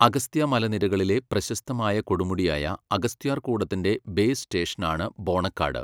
അഗസ്ത്യ മലനിരകളിലെ പ്രശസ്തമായ കൊടുമുടിയായ അഗസ്ത്യാർകൂടത്തിൻ്റെ ബേസ് സ്റ്റേഷനാണ് ബോണക്കാട്.